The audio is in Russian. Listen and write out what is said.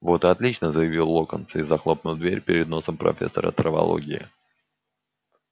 вот и отлично заявил локонс и захлопнул дверь перед носом профессора травологии